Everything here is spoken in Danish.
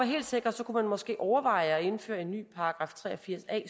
helt sikker kunne man måske overveje at indføre en ny § tre og firs a